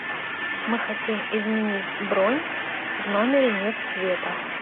мы хотим изменить бронь в номере нет света